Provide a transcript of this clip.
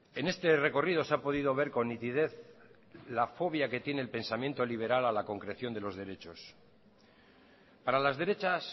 en este recorrido se ha podido ver con nitidez la fobia que tiene el pensamiento liberal a la concreción de los derechos para las derechas